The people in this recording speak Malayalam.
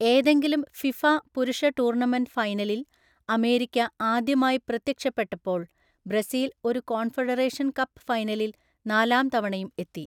ഏതെങ്കിലും ഫിഫ പുരുഷ ടൂർണമെൻ്റ് ഫൈനലിൽ അമേരിക്ക ആദ്യമായി പ്രത്യക്ഷപ്പെട്ടപ്പോൾ ബ്രസീൽ ഒരു കോൺഫെഡറേഷൻ കപ്പ് ഫൈനലിൽ നാലാം തവണയും എത്തി.